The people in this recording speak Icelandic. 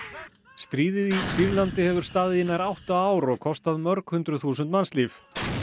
stríðið í Sýrlandi hefur staðið í nær átta ár og kostað mörg hundruð þúsund mannslíf